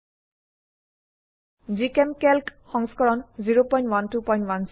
জিচেমকেল্ক সংস্কৰণ 01210